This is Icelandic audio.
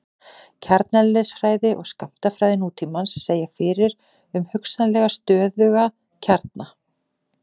kjarneðlisfræði og skammtafræði nútímans segja fyrir um hugsanlega stöðuga kjarna